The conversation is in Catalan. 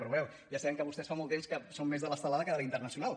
però bé ja sabem que vostès fa molt temps que són més de l’estelada que de la internacional